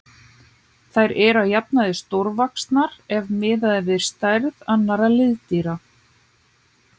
Þær eru að jafnaði stórvaxnar ef miðað er við stærð annarra liðdýra.